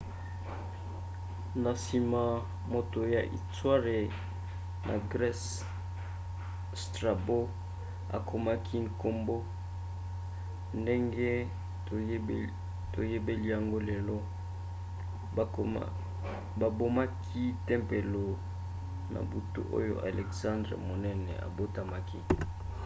na nsima moto ya istware ya grese strabo akomaki nkombo ndenge toyebeli yango lelo. babomaki tempelo na butu oyo elexandre monene abotamaki